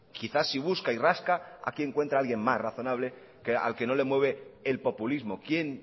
quizás si busca y rasca aquí encuentra a alguien más razonable al que no le mueve el populismo quien